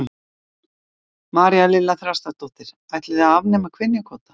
María Lilja Þrastardóttir: Ætlið þið að afnema kynjakvóta?